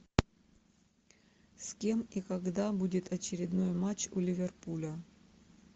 с кем и когда будет очередной матч у ливерпуля